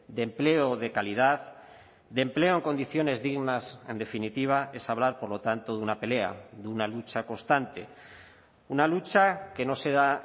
de empleo de calidad de empleo en condiciones dignas en definitiva es hablar por lo tanto de una pelea de una lucha constante una lucha que no se da